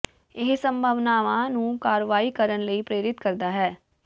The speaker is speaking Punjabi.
ਇਹ ਸੰਭਾਵਨਾਵਾਂ ਨੂੰ ਕਾਰਵਾਈ ਕਰਨ ਲਈ ਪ੍ਰੇਰਿਤ ਕਰਦਾ ਹੈ